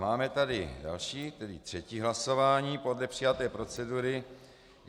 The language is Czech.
Máme tady další, tedy třetí hlasování podle přijaté procedury.